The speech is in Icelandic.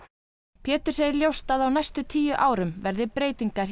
Pétur segir ljóst að á næstu tíu árum verði breytingar hjá